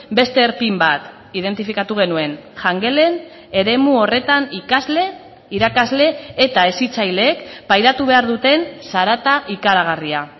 beste erpin bat identifikatu genuen jangelen eremu horretan ikasle irakasle eta hezitzaileek pairatu behar duten zarata ikaragarria